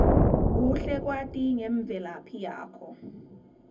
kuhle kwati ngemvelaphi yakho